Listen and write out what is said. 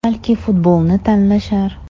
Balki futbolni tanlashar.